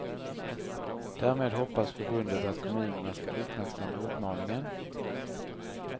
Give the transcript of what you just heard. Därmed hoppas förbundet att kommunerna ska uppmärksamma uppmaningen.